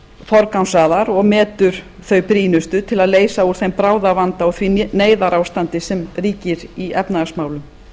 forgangsraðar og metur þau brýnustu til að leysa úr þeim bráðavanda og því neyðarástandi sem ríkir í efnahagsmálum